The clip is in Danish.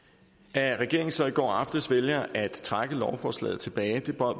at regeringen så i går aftes vælger at trække lovforslaget tilbage